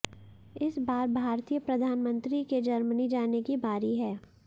इस बार भारतीय प्रधानमंत्री के जर्मनी जाने की बारी है